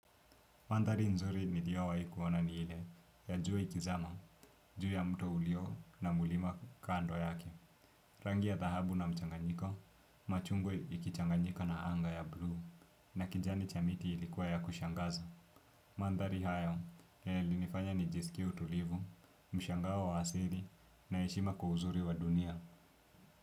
Mandhari nzuri niliowahi kuona ni ile ya jua ikizama, juu ya mto ulio na mlima kando yake. Rangi ya dhahabu na mchanganyiko, machungwa ikichanganyika na anga ya buluu na kijani cha miti ilikuwa ya kushangaza. Mandhari hayo yalinifanya nijisikie utulivu, mshangao wa asili na heshima kwa uzuri wa dunia.